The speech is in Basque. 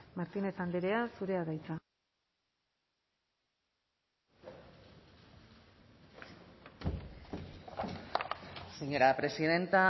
martínez andrea zurea da hitza señora presidenta